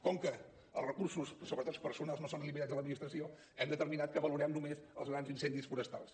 com que els recursos sobretot personals no són limitats a l’administració hem determinat que valorem només els grans incendis forestals